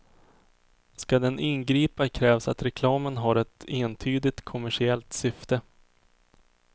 Ska den ingripa krävs att reklamen har ett entydigt kommersiellt syfte.